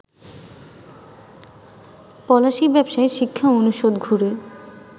পলাশী, ব্যবসায় শিক্ষা অনুষদ ঘুরে